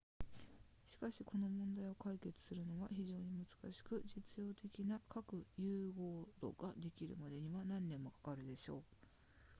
しかしこの問題を解決するのは非常に難しく実用的な核融合炉ができるまでには何年もかかるでしょう